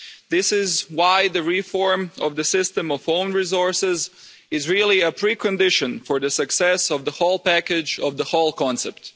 This is why the reform of the system of own resources is really a pre condition for the success of the whole package, of the whole concept.